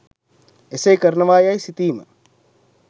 එසේ කරනවා යැයි සිතීම